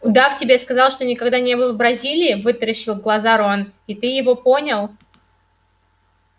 удав тебе сказал что никогда не был в бразилии вытаращил глаза рон и ты его понял